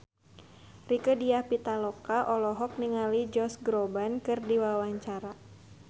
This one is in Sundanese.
Rieke Diah Pitaloka olohok ningali Josh Groban keur diwawancara